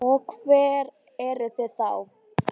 Og hver eru þau þá?